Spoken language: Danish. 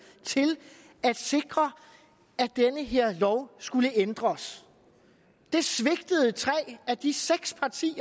til at sikre at den her lov skulle ændres det svigtede tre af de seks partier